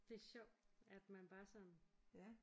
Det er sjovt at man bare sådan